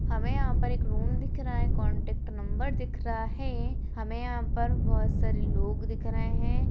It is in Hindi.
हमें यहां पर एक रूम दिख रहा है कांटेक्ट नंबर दिख रहा है हमें यहां पर बहुत सारे लोग दिख रहे हैं।